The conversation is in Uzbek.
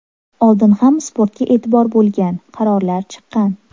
Oldin ham sportga e’tibor bo‘lgan, qarorlar chiqqan.